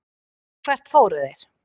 Og hvert fóru þeir?